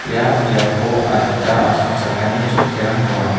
ia biapo adita asongchakani chokkirang donga.